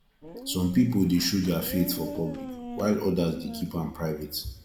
some pipo dey show dia faith for public while odas dey keep am private